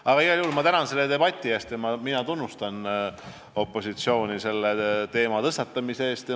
Aga igal juhul ma tänan selle debati eest ja tunnustan opositsiooni selle teema tõstatamise eest.